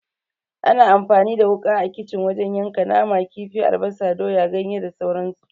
Ana amfani da wuka a kicin wajen yanka nama, kifi, albasa, doya, ganye da sauran su.